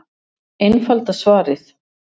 Einfalda svarið